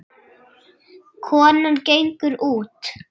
Konan gengur út.